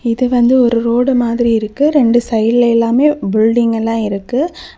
இது வந்து ஒரு ரோடு மாதிரி இருக்கு ரெண்டு சைடுல எல்லாமே பில்டிங் எல்லாமே இருக்கு.